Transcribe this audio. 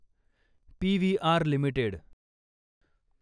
PVR limited